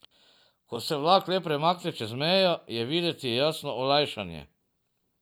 Ko se vlak le premakne čez mejo, je videti jasno olajšanje.